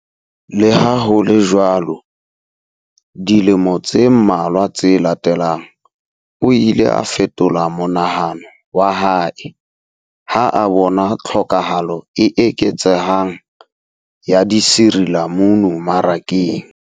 Le ha ho le jwalo, dilemo tse mmalwa tse latelang, o ile a fetola monahano wa hae ha a bona tlhokahalo e eketsehang ya disirilamunu marakeng.